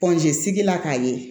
sigila k'a ye